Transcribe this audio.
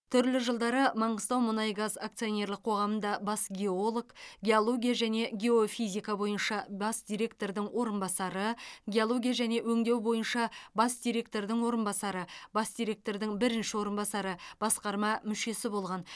түрлі жылдары маңғыстаумұнайгаз акционерлік қоғамында бас геолог геология және геофизика бойынша бас директордың орынбасары геология және өңдеу бойынша бас директордың орынбасары бас директордың бірінші орынбасары басқарма мүшесі болған